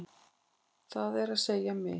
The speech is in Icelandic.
Það er að segja mig.